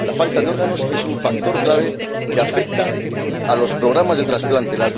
La falta de órganos es un factor clave que afecta a los programas de trasplante.